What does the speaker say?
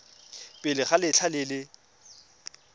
pele ga letlha le le